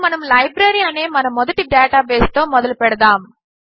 ఇప్పుడు మనము లైబ్రరీ అనే మన మొదటి డేటాబేస్తో మొదలుపెడదాము